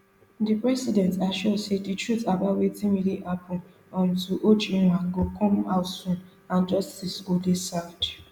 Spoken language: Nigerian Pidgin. di president assure say di truth about wetin really happun um to ojwang go come out soon and justice go dey served